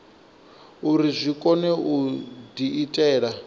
uri zwi kone u diitela